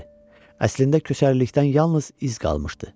Əslində köçərlikdən yalnız iz qalmışdı.